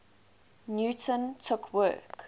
newton took work